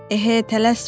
Ehə, tələsmə.